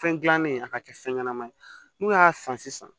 Fɛn gilannen a ka kɛ fɛn ɲɛnama ye n'u y'a san sisan